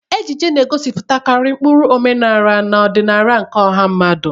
Ejiji na-egosipụtakarị ụkpụrụ omenala na ọdịnala nke ọha mmadụ.